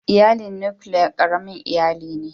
Iyalin nukiliya ƙaramin iyali ne.